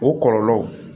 O kɔlɔlɔ